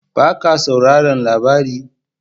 Ba ka sauraran labari??